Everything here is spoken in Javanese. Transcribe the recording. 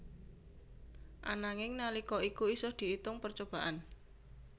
Ananging nalika iku isih diitung percobaan